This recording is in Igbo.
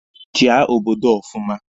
Chia obodo a ọfụma!